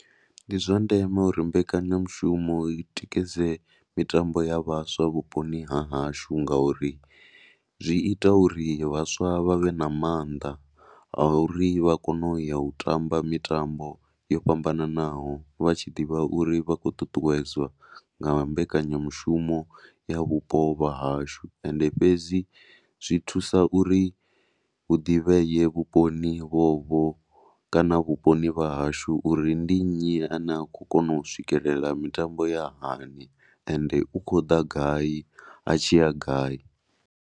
Ndi zwa ndeme uri mbekanyamushumo i tikedze mitambo ya vhaswa vhuponi ha hashu ngauri zwi ita uri vhaswa vha vhe na maanḓa a uri vha kone u ya u tamba mitambo yo fhambananaho vha tshi ḓivha uri vha khou ṱuṱuwedzwa nga mbekanyamushumo ya vhupo vha hashu. Ende fhedzi zwi thusa uri hu ḓivhee vhuponi vhovho kana vhuponi vha hashu uri ndi nnyi a ne a khou kona u swikelela mitambo ya hani ende u khou ḓa gai a tshi ya gai.